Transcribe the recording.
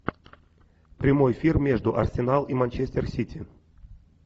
прямой эфир между арсенал и манчестер сити